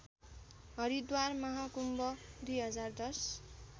Haridwar Mahakumbh २०१०